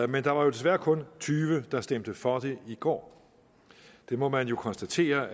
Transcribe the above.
men der var desværre kun tyve der stemte for det i går det må man jo konstatere